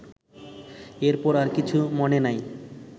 এরপর আর কিছু মনে নাই